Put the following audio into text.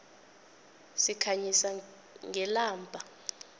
sikhanyisa ngelamba